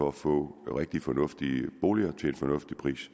for at få rigtig fornuftige boliger til en fornuftig pris